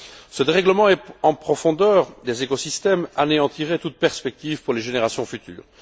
Ce dérèglement en profondeur des écosystèmes anéantirait toute perspective pour les générations futures.